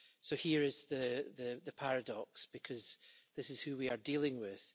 So here is the paradox, because this is who we are dealing with.